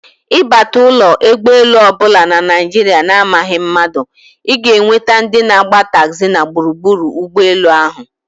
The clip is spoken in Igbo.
Ịbata ụlọ egbolu ọbụla na Naijiria na amaghị mmadụ, ịga enweta ndị na agba taxi na gburugburu ụgbọ elu ahụ